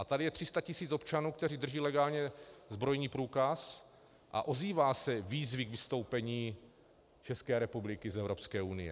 A tady je 300 tisíc občanů, kteří drží legálně zbrojní průkaz, a ozývají se výzvy k vystoupení České republiky z Evropské unie.